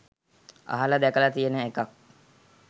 අහල දැකල තියෙන එකක්.